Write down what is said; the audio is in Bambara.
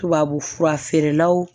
Tubabufura feerelaw